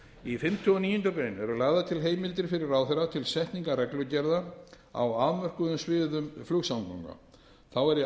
í fimmta og níundu grein eru lagðar til heimildir fyrir ráðherra til setningar reglugerða á afmörkuðum sviðum flugsamgangna þá er í